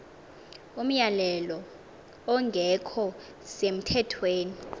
umyalelo ongekho semthethweni